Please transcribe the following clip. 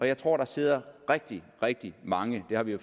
jeg tror der sidder rigtig rigtig mange det har vi jo